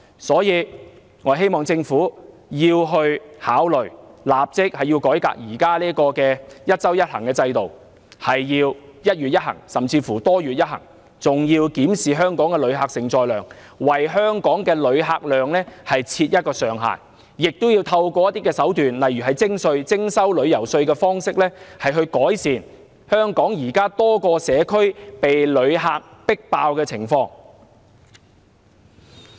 所以，我希望政府考慮立即改革現時"一周一行"的制度，改為"一月一行"，甚至"多月一行"，還要檢視香港的旅客承載量，為香港的旅客量設上限，亦要運用一些手段，例如徵收旅遊稅，以改善香港現時多個社區被旅客迫爆的情況。